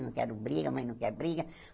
Não quero briga, a mãe não quer briga.